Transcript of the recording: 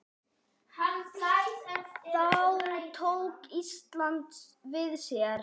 Þá tók Ísland við sér.